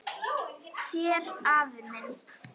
Þér afi minn.